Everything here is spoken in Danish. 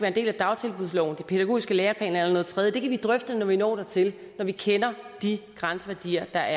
en del af dagtilbudsloven de pædagogiske læreplaner eller tredje kan vi drøfte når vi når dertil når vi kender de grænseværdier der